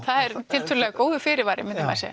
er tiltölulega góður fyrirvari myndi maður segja